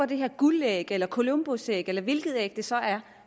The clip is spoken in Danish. det her guldæg eller columbusæg eller hvilket æg det så er